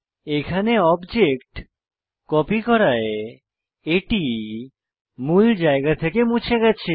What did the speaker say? এখানে object copy করায় এটি মূল জায়গা থেকে মুছে গেছে